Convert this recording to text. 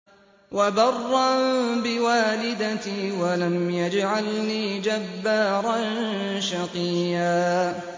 وَبَرًّا بِوَالِدَتِي وَلَمْ يَجْعَلْنِي جَبَّارًا شَقِيًّا